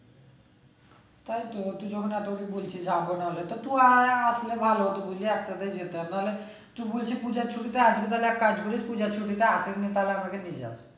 তাই তো বলছি যাবো না তো তুই আয়ে আসলে ভালো হতো বুঝলি একসাথে যেতাম তাহলে তুই বলছিস পূজার ছুটি তে আসবি তাহলে একটা কাজ করিস পূজার ছুটিতে তাহলে আমাকে নিয়ে যাস